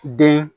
Den